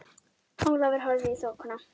Ólafur horfði í þokuna.